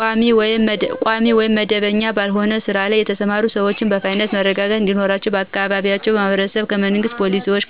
ቋሚ ወይም መደበኛ ባልሆነ ስራ ላይ የተሰማሩ ሰዎችን በፋይናንስ መረጋጋት እንዲኖራቸው በአካባቢያችን ማህበረሰብ ከመንግሥት ፖሊሲዎችና